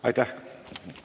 Aitäh!